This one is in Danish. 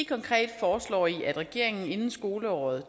konkret foreslår i at regeringen inden skoleåret